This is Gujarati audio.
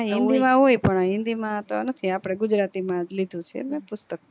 હા હિન્દી માં હોય પણ હિન્દી માં તો નથી આપડે ગુજરાતી માં લીધું છે મેં પુસ્તક